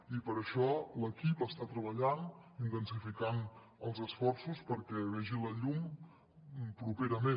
i per això l’equip està treballant intensificant els esforços perquè vegi la llum properament